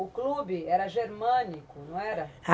O clube era Germânico, não era?